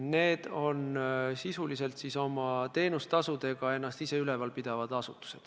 See on sisuliselt oma teenustasudega ennast ise ülal pidav asutus.